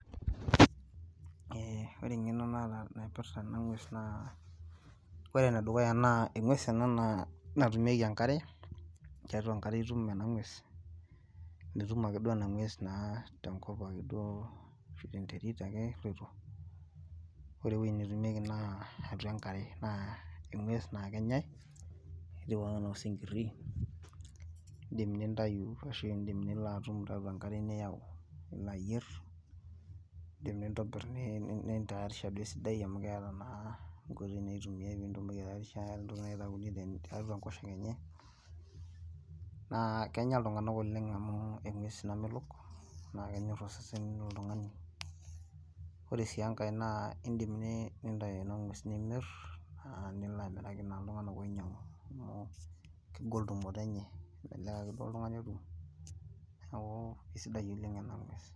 ore engeno naata naipirta ena ng'ues naa engues ena natumieki enkare, tiatua enkare itum ena ngues. mitum ake duo ena ng'ues naa tenkop do, tenterit ake eloito. ore ewueji duo netumieki naa atua enkare. naa eng'ues naa kenyae. etieu ake ana osinkiri. idim nintayu, ashu iidim nilo atum tiatua enkare niyau. nilo ayier, idim nintobir nintayarisha duoo esidai amu keeta naa nkoitoi naitumiae. pee itumoki aitaarisha amu keeta naa ntokitin naitayuni tiatua enkosoke. naa kenya iltunganak oleng amu engues namelok ,naa kenyor osesen loltungani. ore sii enkae na idim nintayu ena ng'ues nimir.aa nilo amiraki naa iltunganak oinyiang'u. amu kegol tumoto enye. melelek ake duoo oltungani otum. neeku kisdai oleng ena ng'ues.